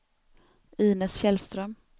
Inez Källström